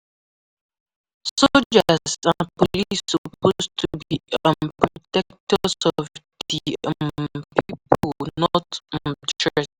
To stay safe no no follow dem argue or make dem suspect anything